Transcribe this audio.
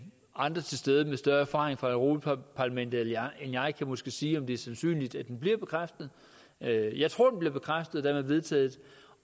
andre tilstedeværende med større erfaring fra europa parlamentet end jeg kan måske sige om det er sandsynligt at den bliver bekræftet jeg jeg tror den bliver bekræftet og dermed vedtaget